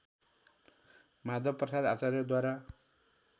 Madhav Prasad आचार्यद्वारा